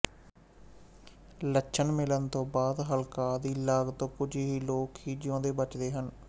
ਲੱਛਣ ਮਿਲਣ ਤੋਂ ਬਾਅਦ ਹਲਕਾਅ ਦੀ ਲਾਗ ਤੋਂ ਕੁਝ ਕੁ ਲੋਕ ਹੀ ਜਿਉਂਦੇ ਬਚਦੇ ਹਨ